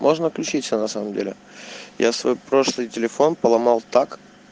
можно отключиться на самом деле я свой прошлый телефон поломал так